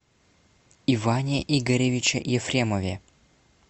иване игоревиче ефремове